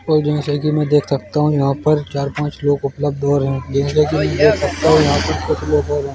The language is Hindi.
और जैसा कि मैं यहां पर चार पांच लोग कपड़ा धो रहे है जैसा कि मैं देख सकता हूं यहां पर कुछ लोग और हैं।